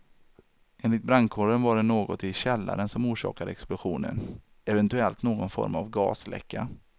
Enligt brandkåren var det något i källaren som orsakade explosionen, eventuellt någon form av gasläcka.